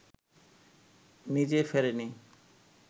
নিজে ফেরেনি